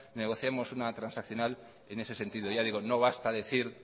negociemos una transaccional en ese sentido ya digo no basta decir